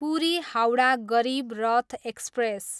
Puri, Howrah Garib Rath express